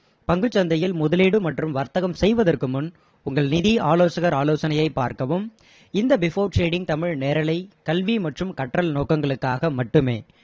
பங்குச் சந்தையில் முதலீடு மற்றும் வர்த்தகம் செய்வதற்கு முன் உங்கள் நிதி ஆலோசகர் ஆலோசனையை பார்க்கவும் இந்த before trading தமிழ் நேரலை கல்வி மற்றும் கற்றல் நோக்கங்களுக்காக மட்டுமே